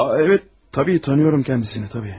A, bəli, əlbəttə tanıyıram özünü, əlbəttə.